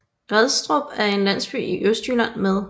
Grædstrup er en landsby i Østjylland med